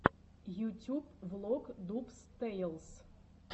ютюб влог дубс тэйлс